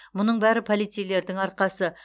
мұның бәрі полицейлердің арқасы